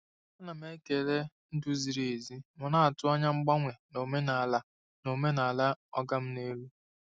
Ana m ekele ndu ziri ezi ma na-atụ anya mgbanwe n'omenala n'omenala “oga m n'elu.”